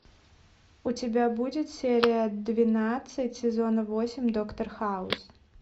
у тебя будет серия двенадцать сезона восемь доктор хаус